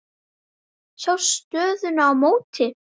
Sjá stöðuna í mótinu.